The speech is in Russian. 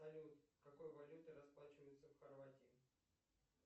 салют какой валютой расплачиваются в хорватии